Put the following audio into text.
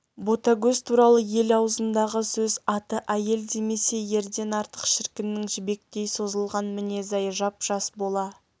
ботагөз туралы ел аузындағы сөз аты әйел демесе ерден артық шіркіннің жібектей созылған мінезі-ай жап-жас бола